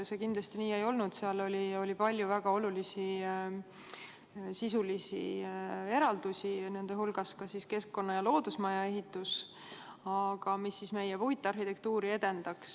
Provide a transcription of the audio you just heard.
See kindlasti nii ei olnud, seal oli palju väga olulisi sisulisi eraldusi, nende hulgas ka keskkonna- ja loodusmaja ehitus, mis edendaks meie puitarhitektuuri.